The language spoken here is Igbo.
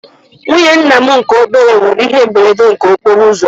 Nwụnye ńnà mụ nke obere nwere ihe mberede nke okporouzo